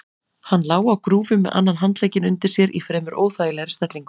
Hann lá á grúfu með annan handlegginn undir sér í fremur óþægilegri stellingu.